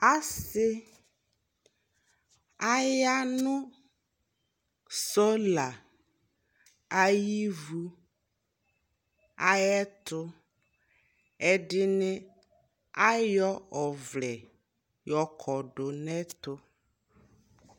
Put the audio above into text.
Asι, aya nʋsolaayι ivuayι ɛtʋ Ɛdιnι, ayɔ ɔvlɛyɔ kɔ dʋ nʋ ɛtʋ